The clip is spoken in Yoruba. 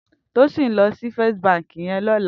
Tosin n lò si Fèstí bànkí yèn lòlá